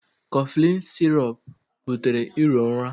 Cofflin sirọp butere iro ụra.